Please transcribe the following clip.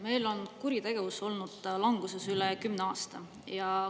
Meil on kuritegevus olnud languses üle kümne aasta.